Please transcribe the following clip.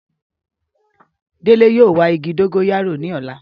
Dele yóò wa igi dogoyaro ni ọla